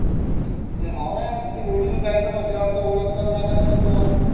म्हणजे हा नई वाटत आहे roadies मध्ये जायचं म्हंटल्यावर ओळख करावं लागलं ना तिथं जाऊन